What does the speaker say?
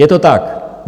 Je to tak!